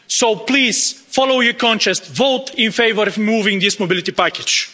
So please, follow your conscience, vote in favour of moving this mobility package.